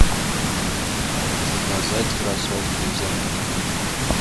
заказать кроссовки из америки